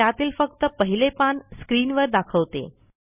व त्यातील फक्त पहिले पान स्क्रीनवर दाखवते